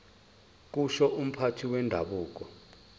kusho umphathi wendabuko